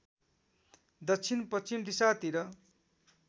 दक्षिण पश्चिम दिशातिर